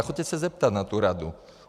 A choďte se zeptat, na tu radu.